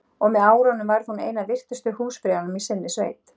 Og með árunum varð hún ein af virtustu húsfreyjunum í sinni sveit.